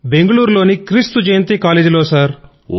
బెంగుళూరు లోని క్రీస్తు జయంతి కాలేజ్ లో సర్